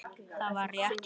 Það var rétt hjá henni.